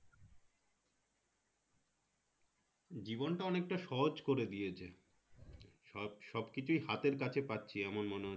জীবনটা অনেকটা সহজ করে দিয়েছে স সবকিছুই হাতের কাছে পাচ্ছি এমন মনে হচ্ছে